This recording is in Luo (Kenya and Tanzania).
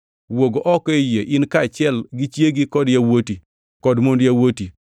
“Wuog oko ei yie, in kaachiel gi chiegi, kod yawuoti kod mond yawuoti.